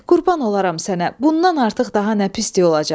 Qurban olaram sənə, bundan artıq daha nə pisliyi olacaq.